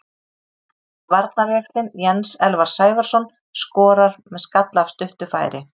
Varnarjaxlinn Jens Elvar Sævarsson skorar með skalla af stuttu færi.